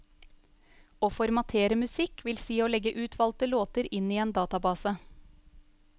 Å formatere musikk vil si å legge utvalgte låter inn i en database.